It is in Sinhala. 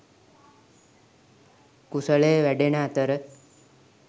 කුසලය වැඩෙන අතර,